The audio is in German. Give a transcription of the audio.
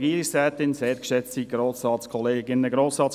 Grossrat Rüegsegger, Sie haben das Wort.